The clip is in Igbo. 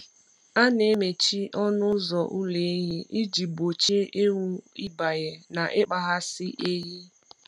A na-emechi ọnụ ụzọ ụlọ ehi iji gbochie ewu ịbanye na ịkpaghasị ehi.